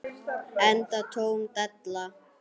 Enda tóm della.